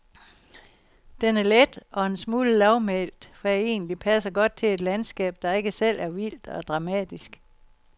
Den er let og en smule lavmælt, hvad egentligt passer godt til et landskab, der ikke selv er vildt og dramatisk.